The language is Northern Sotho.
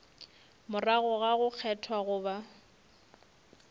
morago ga go kgethwa goba